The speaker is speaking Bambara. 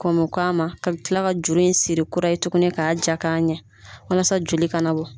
Kɔmok'a ma, ka kila ka juru in siri kura ye tugunni k'a ja ka ɲɛ walasa joli kanabɔ.